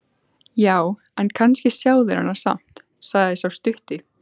Já, en kannski sjá þeir hana samt, sagði sá stutti.